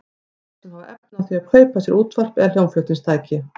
Þeir sem hafa efni á því að kaupa sér útvarp eða hljómflutningstæki.